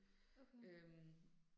Okay